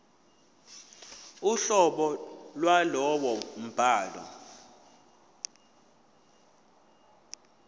uhlobo lwalowo mbhalo